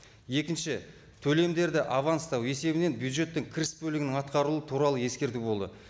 екінші төлемдерді аванстау есебінен бюджеттің кіріс бөлігінің атқарылуы туралы ескерту болды